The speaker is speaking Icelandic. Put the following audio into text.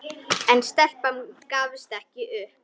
En stelpan gafst ekki upp.